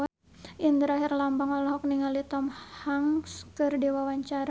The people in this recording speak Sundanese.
Indra Herlambang olohok ningali Tom Hanks keur diwawancara